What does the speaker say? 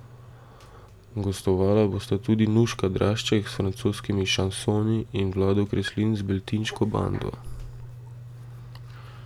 Gostovala bosta tudi Nuška Drašček s francoskimi šansoni in Vlado Kreslin z Beltinško bando.